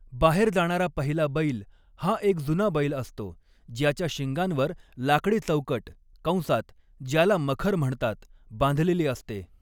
बाहेर जाणारा पहिला बैल हा एक जुना बैल असतो, ज्याच्या शिंगांवर लाकडी चौकट कंसात ज्याला मखर म्हणतात बांधलेली असते.